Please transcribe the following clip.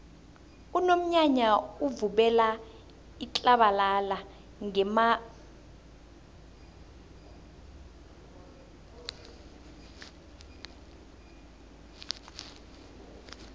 unomnyanya uvubela itlabalala ngemarhabheni